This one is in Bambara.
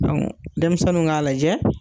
denmisɛnnu k'a lajɛ